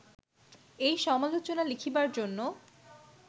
এই সমালোচনা লিখিবার জন্য